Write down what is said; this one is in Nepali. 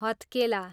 हत्केला